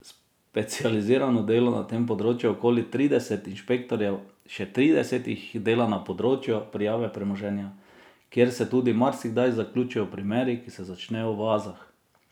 Specializirano dela na tem področju okoli trideset inšpektorjev, še trideset jih dela na področju prijave premoženja, kjer se tudi marsikdaj zaključijo primeri, ki se začnejo v oazah.